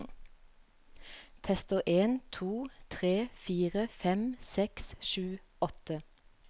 Tester en to tre fire fem seks sju åtte